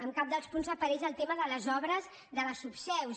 en cap dels punts aparegui el tema de les obres de les subseus